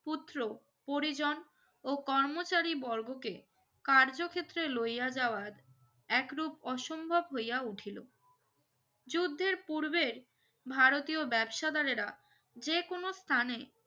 পুত্র পরিজন ও কর্মচারী বর্গকে কার্যক্ষেত্রে লইয়া যাওয়াত একরুপ অসম্ভব হইয়া উঠিলো যুদ্ধের পুরবে ভারতীয় ব্যবসাদারেরা যেকোনো স্থানে